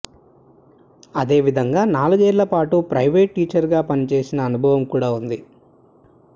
అదేవిధంగా నాలుగేళ్లపాటు private teacher గా పనిచేసిన అనుభవం కూడా ఉంది